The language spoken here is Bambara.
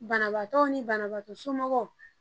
Banabaatɔw ni banabaatɔ somɔgɔw